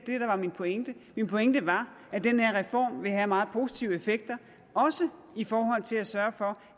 var min pointe min pointe var at den her reform vil have meget positive effekter også i forhold til at sørge for